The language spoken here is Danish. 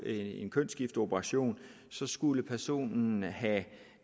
en kønsskifteoperation skulle personen have